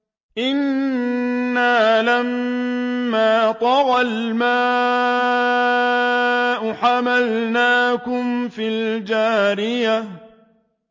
إِنَّا لَمَّا طَغَى الْمَاءُ حَمَلْنَاكُمْ فِي الْجَارِيَةِ